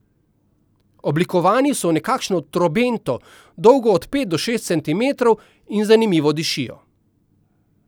Oblikovani so v nekakšno trobento, dolgo od pet do šest centimetrov, in zanimivo dišijo.